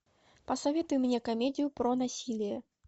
посоветуй мне комедию про насилие